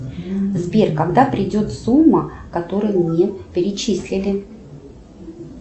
сбер когда придет сумма которую мне перечислили